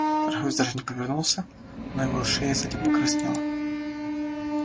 торговец даже не повернулся но его шея сзади покраснела